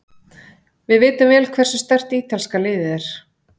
Við vitum vel hversu sterkt ítalska liðið er.